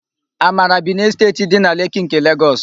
Amara bi n'Esteeti dị na Leki nke Legọs.